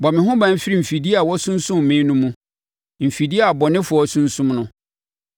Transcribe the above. Bɔ me ho ban firi mfidie a wɔasunsum me no mu, mfidie a abɔnefoɔ asunsum no.